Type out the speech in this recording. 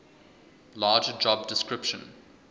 larger job description